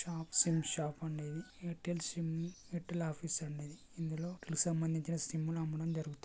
Shop sim shop అండీ ఇది Airtel sim Airtel office అండి ఇది ఇందులో సంబందించిన సిమ్ములు అమ్మడం జరుగుతుంది.